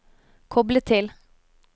koble til